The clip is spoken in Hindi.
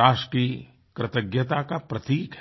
राष्ट्र की कृतज्ञता का प्रतीक है